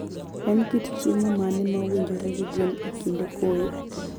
En kit chiemo mane ma owinjore gi gwen e kinde koyo?